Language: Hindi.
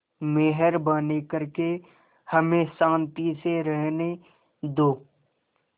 मेहरबानी करके हमें शान्ति से रहने दो